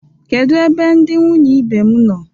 Kedu ebe ndi nwunye ibe m nọ?